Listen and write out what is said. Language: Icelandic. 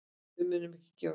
Við munum ekki gefast upp.